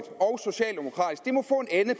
ende